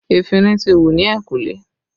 Efinrin ti wù ni ehinkule